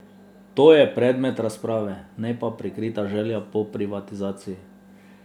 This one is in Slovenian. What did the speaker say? To je predmet razprave, ne pa prikrita želja po privatizaciji.